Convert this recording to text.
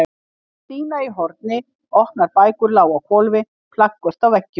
Það var dýna í horni, opnar bækur lágu á hvolfi, plaköt á veggjum.